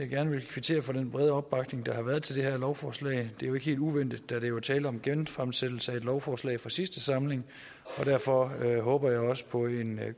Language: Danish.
gerne vil kvittere for den brede opbakning der har været til det her lovforslag det er ikke helt uventet da der jo er tale om en genfremsættelse af et lovforslag fra sidste samling og derfor håber jeg også på en